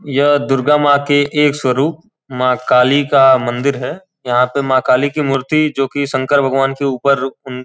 यह दुर्गा माँ के एक स्वरूप महाकाली का मंदिर है। यहाँ पे महाकाली की मूर्ति जो कि शंकर भगवान के ऊपर उन --